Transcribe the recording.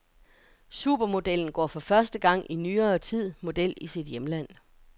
Supermodellen går for første gang i nyere tid model i sit hjemland.